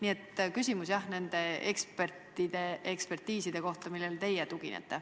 Aga küsimus on, jah, nende ekspertiiside kohta, millele teie tuginete.